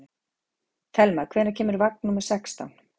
Thelma, hvenær kemur vagn númer sextán?